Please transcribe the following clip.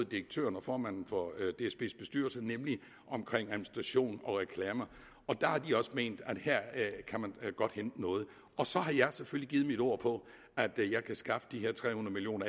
direktøren og formanden for dsbs bestyrelse nemlig omkring administration og reklame der har de også ment at her kan man godt hente noget så har jeg selvfølgelig givet mit ord på at jeg kan skaffe de her tre hundrede million